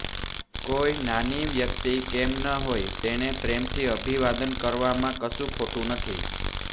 કોઈ નાની વ્યક્તિ કેમ ન હોય તેને પ્રેમથી અભિવાદન કરવામાં કશું ખોટું નથી